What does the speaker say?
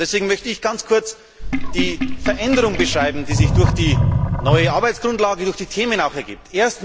Deswegen möchte ich ganz kurz die Veränderung beschreiben, die sich durch die neue Arbeitsgrundlage und auch durch die Themen ergibt.